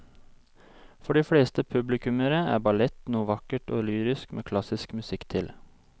For de fleste publikummere er ballett noe vakkert og lyrisk med klassisk musikk til.